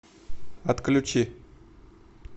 отключи